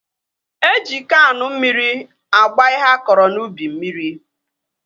Eji Kaanụ mmiri agba ihe a kọrọ n'ubi mmiri